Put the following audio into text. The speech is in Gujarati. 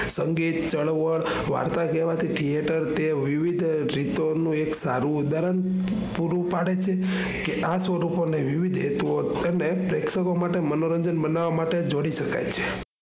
અંગે ચળવળ વાર્તા કહેવાથી theater તે વિવિધ રીતો નું એક સારું ઉદાહરણ પૂરું પાડે છે કે આ સ્વરૂપો ને વિવિધ હેતુઓ અને પ્રેક્ષકો માટે મનોરંજન મનાવવા માટે જોડી શકાય છે.